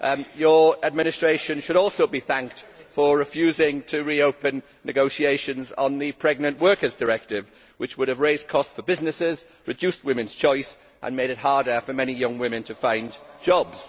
Your administration should also be thanked for refusing to reopen negotiations on the Pregnant Workers Directive, which would have raised costs for businesses, reduced women's choice and made it harder for many young women to find jobs.